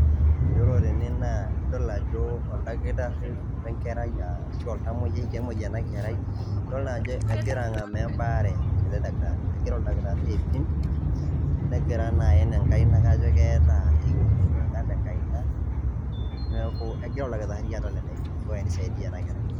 Yiolo tene nidol ajo oldakitarii o enkerai ashu oltamoyiai, kemuoi ena kerai, egira ang'amaa embaare, egira oldakitarii aipim, negira naa aen enkaina kajo keeta ewuoi niwuang'a tenkaina, neaku kegira oldakitarii atal eneiko pee eisaidia ena kerai